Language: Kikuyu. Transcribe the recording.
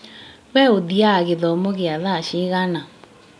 We ũthiaga gĩthomo gĩa thaa cigana?